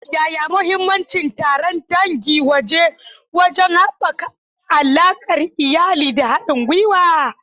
Yaya mahimmancin taron dangi wajen haɓaka alaƙar iyali da haɗin gwiwa?